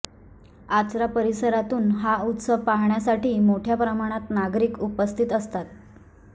आचरा परिसरातून हा उत्सव पाहण्यासाठी मोठ्या प्रमाणात नागरिक उपस्थित असतात